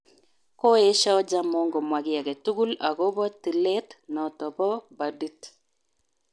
Koesyo Ojaamong komwa ki age tugul agobo tilet noto ba bodit